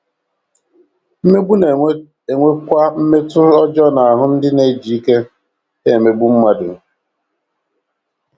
Mmegbu na - enwekwa mmetụta ọjọọ n’ahụ́ ndị na - eji ike ha emegbu mmadụ.